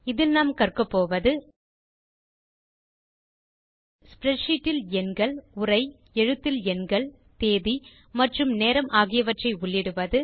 இதில் நாம் கற்கபோவது ஸ்ப்ரெட்ஷீட் இல் எண்கள் உரை எழுத்தில் எண்கள் தேதி மற்றும் நேரம் ஆகியவற்றை உள்ளிடுவது